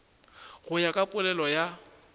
go ya ka polelo ya